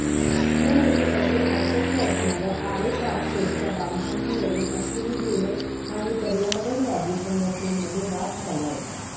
या मेट्रोसाठी आवश्यक असणाऱया आरे कारशेडच्या बांधकामावरून अश्विनी भिडे आणि पर्यावरणवादी संघटनांमध्ये वाद झाला होता